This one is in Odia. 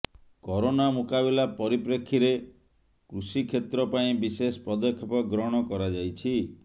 କରୋନା ମୁକାବିଲା ପରିପ୍ରେକ୍ଷୀରେ କୃଷିକ୍ଷେତ୍ରପାଇଁ ବିଶେଷ ପଦକ୍ଷେପ ଗ୍ରହଣ କରାଯାଇଛି